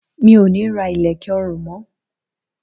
Mi ò ní ra ilẹ̀kẹ̀ ọrùn mó.